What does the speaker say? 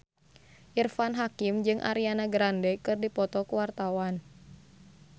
Irfan Hakim jeung Ariana Grande keur dipoto ku wartawan